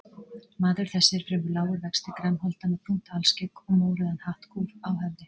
Maður þessi er fremur lágur vexti, grannholda með brúnt alskegg og mórauðan hattkúf á höfði.